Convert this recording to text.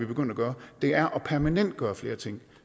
begyndt at gøre er at permanentgøre flere ting